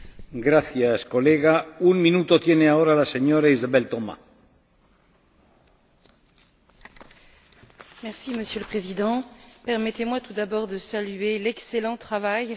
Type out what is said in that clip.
Monsieur le Président, permettez moi, tout d'abord, de saluer l'excellent travail réalisé par notre collègue socialiste, Anni Podimata, qui est parvenue, au fil des différents rapports dont elle a eu la charge,